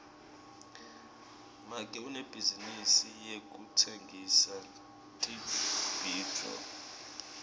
make unebhizinisi yekutsengisa tibhidvo